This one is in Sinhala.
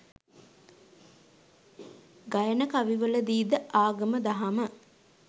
ගයන කවිවලදී ද ආගම දහම